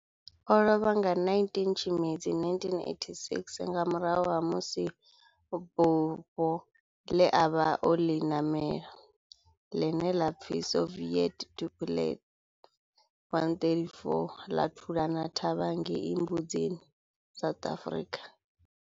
O lovha nga 19 Tshimedzi 1986 nga murahu ha musi bufho le a vha o li namela, line la pfi Soviet Tupolev 134 la thulana thavha ngei Mbuzini, South Africa.